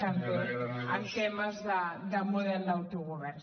també en temes de model d’autogovern